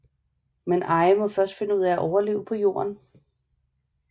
Men Ai må først finde ud af at overleve på Jorden